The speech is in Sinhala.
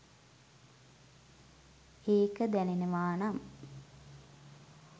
ඒක දැනෙනවා නම්